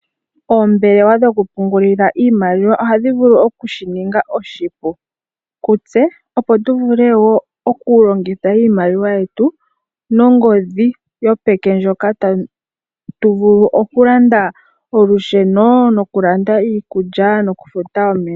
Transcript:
Oombelewa dhokupungulila iimaliwa ohadhi vulu okushi ninga oshipu kutse, opo tu vule wo okulongitha iimaliwa yetu nongodhi yopeke ndjoka ta tu vulu okulanda olusheno, nokulanda iikulya nokufuta omeya.